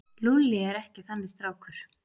Lúlli er ekki þannig strákur.